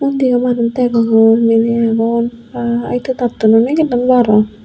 undi oparot degong indi di agon baa edo dattun I nigillun bu aro.